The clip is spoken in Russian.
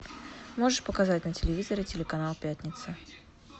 можешь показать на телевизоре телеканал пятница